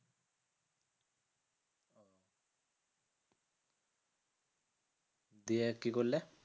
দিয়ে কি করলে?